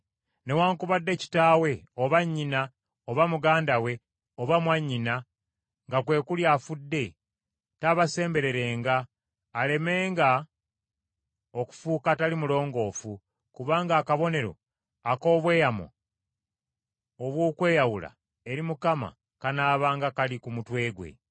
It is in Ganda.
Newaakubadde kitaawe, oba nnyina, oba muganda we oba mwannyina nga kwe kuli afudde, taabasembererenga alemenga okufuuka atali mulongoofu, kubanga akabonero ak’obweyamo obw’okweyawula eri Katonda kanaabanga kali ku mutwe gwe.